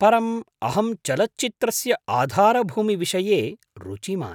परम् अहं चलच्चित्रस्य आधारभूमिविषये रुचिमान् ।